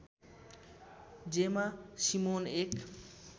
जेमा सिमोन एक